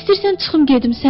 istəyirsən çıxım gedim,